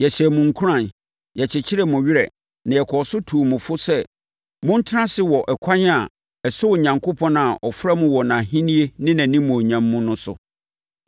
Yɛhyɛɛ mo nkuran; yɛkyekyeree mo werɛ na yɛkɔɔ so tuu mo fo sɛ montena ase wɔ ɛkwan a ɛsɔ Onyankopɔn a ɔfrɛ mo wɔ nʼAhennie ne nʼanimuonyam mu no so.